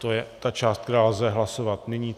To je ta část, kterou lze hlasovat nyní.